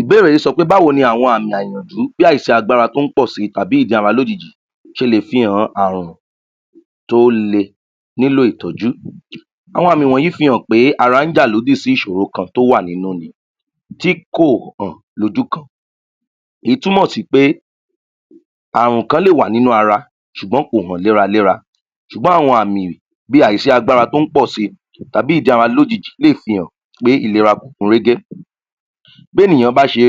ìbéèrè yí sọ pé báwo ni àwọn àmọ̀hànjú láì ṣe agbára tó pọ̀ si tàbi ́ jà wá lójijì ṣe lè fi hàn àrùn tó le nílò ìtọ́jú àwọn àmì yí fi hàn pé ara jà lódì sí ìsòro kan tó wà nínú tí kò hàn lójú kan èyí túmọ̀ sí pé àrùn kan lè wà nínú ara sùgbón kò hàn léraléra sú̀gbón àwọn àmì bí à sí agbára tó pọ̀ si tàbi ́ ìjá wa lójijì lè fi hàn pé ìlera kò kún régé bí ènìyàn bá ṣe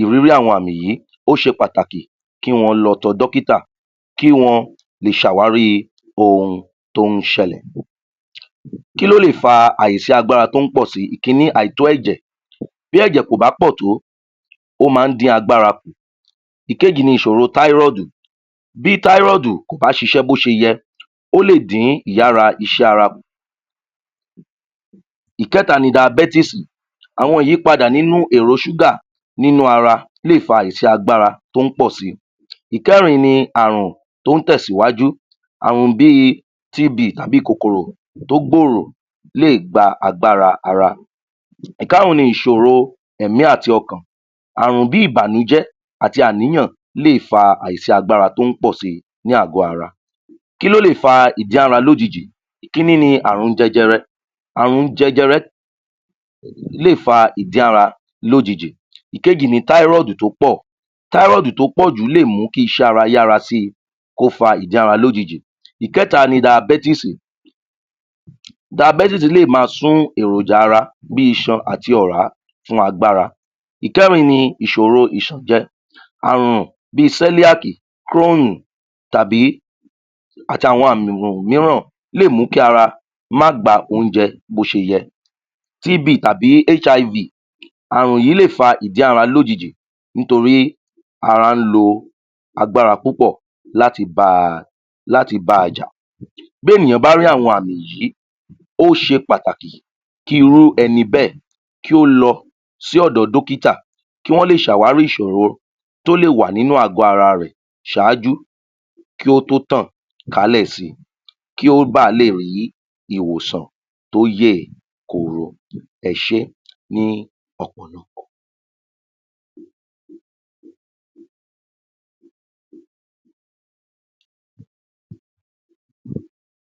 ìrírí àwọn àmì yí ó ṣe pàtakì kí wọ́n lọ tọ dọ́kítà kí wọn lè sàwárí ohun tó ṣẹlẹ̀ kí ló le fa aìsí agbára to ́ pọ̀ si, ìkíní àìtó ẹ̀jẹ̀ bí ẹ̀jẹ̀ ko ̀bá pọ̀ tó ó má dí agbára kù ìkejì ni ìsòro táròdù bí táròdù kò bá ṣisẹ́ bó ṣe yẹ ó lè dín ìyára iṣẹ́ ara kù ìkẹ́ta ni diabẹ́tísì àwọn ìyípadà nínú èrò súgà nínú ara lè fa aìsí agbára tó pọ̀ si ìkẹ́rin ni àrùn tó tẹ̀ síwájú àrùn bí i t b àbí kòkòrò tó gbòrò lé gba agbára ara ìkárún ni ìsòro ẹ̀mí àti ọkàn àrùn bí ìbànújẹ́ àti àníyàn lé fa àìsí agbára tó pọ̀ si ní àgọ́ ara kíló lè fa ìjára lójijì ìkíní ni àrùn jẹjẹrẹ àrùn jẹjẹrẹ lé fa ìjára lójijì ìkejì ni tárọ́dù tó pọ̀ tárọ́dù tó pò jù lè mú kí iṣẹ́ ara yára si kó fa ìjára lójijì ìkẹ́ta ni daibẹ́tísì daibẹ́tísì lè ma sún èròjà ara bí isan àti ọ̀rá fún agbára ìkẹ́rin ni ìsòro ìsànjẹ àrùn bi sẹ́líáki kírónù tàbí àti àwọn àmì um um míràn lé mú kí ara má gba oúnjẹ bó ṣe yẹ tb tàbì hiv àrùn yí lè fa ìjára lóijì nítorí ara lo agbára púpọ̀ láti ba láti ba jà bí ènìyàn bá rí àwọn àmì yí ó ṣe pàtàkì kí irú ẹni bẹ́ẹ̀ kí ó lo sí ọ̀dọ̀ dọ́kítà kí wọn lè sàwárí ìsòro tó lè wà nínú àgọ́ ara rẹ̀ śáájú kó tó tàn kálẹ̀ si kí ó balè rí ìwòsàn tóyè koro ẹsé ní ọ̀pọ̀lọpọ̀